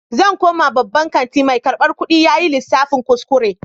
Zan koma babban kanti, mai karbar kudi yayi lissafin kuskure.